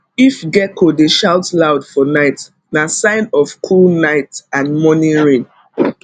if gecko dey shout loud for night na sign of cool night and morning rain